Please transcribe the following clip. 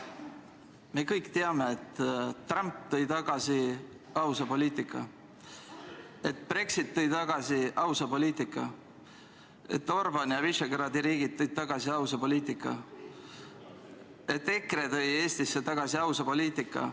Me kõik teame, et Trump tõi tagasi ausa poliitika, et Brexit tõi tagasi ausa poliitika, et Orban ja Visegrádi riigid tõid tagasi ausa poliitika, et EKRE tõi Eestisse tagasi ausa poliitika.